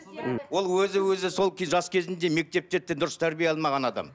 ол өзі өзі сол кез жас кезінде мектепте дұрыс тәрбие алмаған адам